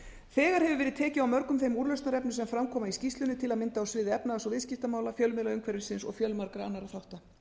þegar hefur verið tekið á mörgum þeim úrlausnarefnum sem fram koma í skýrslunni til að mynda á sviði efnahags og umhverfismála fjölmiðlaumhverfisins og fjölmargra annarra þátta